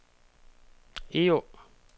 Egå